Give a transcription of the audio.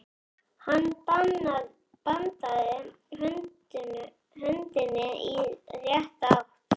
Hann bandaði höndinni í rétta átt.